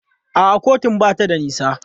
A'a kotun ba ta da nisa.